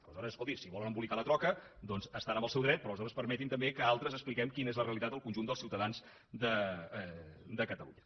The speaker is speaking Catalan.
aleshores escolti si volen embolicar la troca estan en el seu dret però aleshores permeti també que altres expliquem quina és la realitat al conjunt dels ciutadans de catalunya